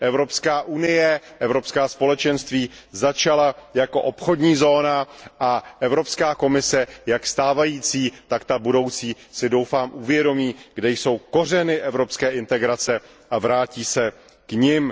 Evropská unie, Evropská společenství začala jako obchodní zóna a Evropská komise jak stávající, tak ta budoucí si doufám uvědomí, kde jsou kořeny evropské integrace a vrátí se k nim.